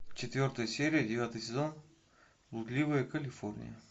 четвертая серия девятый сезон блудливая калифорния